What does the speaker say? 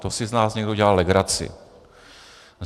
To si z nás někdo dělá legraci.